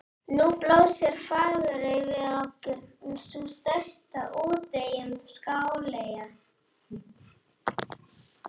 Nú blasir Fagurey við okkur, sú stærsta af úteyjum Skáleyja.